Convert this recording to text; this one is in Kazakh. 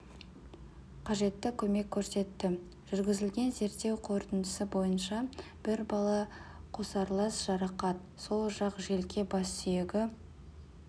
қажетті көмек көрсетті жүргізілген зерттеу қорытындысы бойынша бір бала қосарлас жарақат сол жақ желке бассүйегі